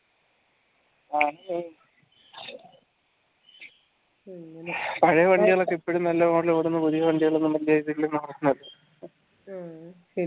പഴയ വണ്ടികളൊക്കെ ഇപ്പോഴും നല്ല പുതിയ വണ്ടികളൊന്നും വലിയ ഇതൊന്നു ഇല്ല